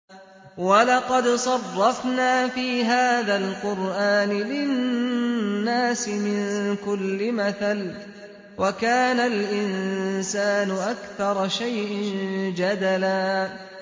وَلَقَدْ صَرَّفْنَا فِي هَٰذَا الْقُرْآنِ لِلنَّاسِ مِن كُلِّ مَثَلٍ ۚ وَكَانَ الْإِنسَانُ أَكْثَرَ شَيْءٍ جَدَلًا